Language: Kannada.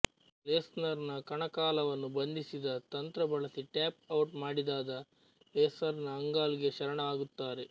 ಲೆಸ್ನರ್ ನ ಕಣಕಾಲನ್ನು ಬಂಧಿಸಿದ ತಂತ್ರ ಬಳಸಿ ಟ್ಯಾಪ್ ಔಟ್ ಮಾಡಿದಾದ ಲೆಸ್ನರ್ ಆಂಗಲ್ ಗೆ ಶರಣಾಗುತ್ತಾರೆ